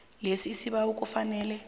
lesi isibawo kufanele